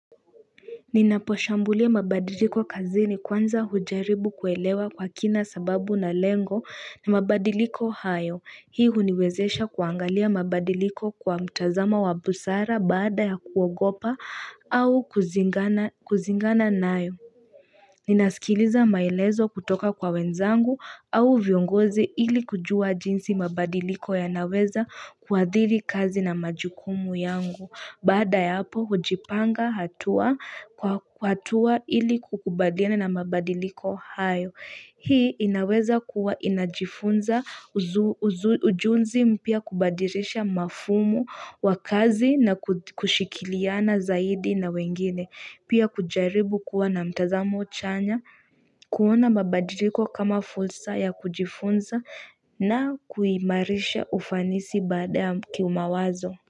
Ninaposhambulia mabadiliko kazini kwanza hujaribu kuelewa kwa kina sababu na lengo ya mabadiliko hayo. Hii huniwezesha kuangalia mabadiliko kwa mtazamo wa busara baada ya kuogopa au kuzingana nayo. Ninaskiliza maelezo kutoka kwa wenzangu au viongozi ili kujua jinsi mabadiliko yanaweza kuathiri kazi na majukumu yangu. Baada ya hapo hujipanga hatua kwa hatua ili kukubaliana na mabadiliko hayo. Hii inaweza kuwa inajifunza ujuzi mpya kubadilisha mafumu wa kazi na kushikiliana zaidi na wengine. Pia kujaribu kuwa na mtazamo chanya kuona mabadiliko kama fulsa ya kujifunza na kuimarisha ufanisi baada ya kiumawazo.